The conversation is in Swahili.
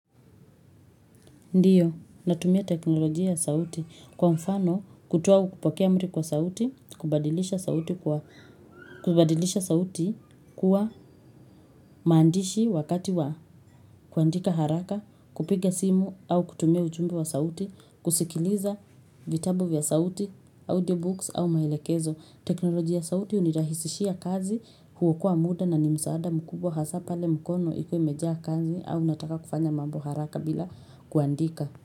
Ndiyo, natumia teknolojia ya sauti. Kwa mfano, kutoa au kupokea mti kwa sauti kubadilisha sauti kuwa maandishi wakati wa kuandika haraka kupiga simu au kutumia ujumbe wa sauti kusikiliza vitabu vya sauti audiobooks au maelekezo. Teknolojia ya sauti hunirahisishia kazi huokowa muda na ni msaada mkubwa hasa pale mkono ikiwa imejaa kazi au nataka kufanya mambo haraka bila kuandika.